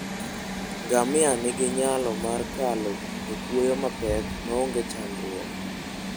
Ngamia nigi nyalo mar kalo e kwoyo mapek maonge chandruok.